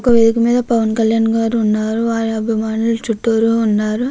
ఒక వేధిక మీద పవన్ కళ్యాణ్ గారు ఉన్నారు. వారి చుట్టూరా అభిమానులు ఉన్నారు.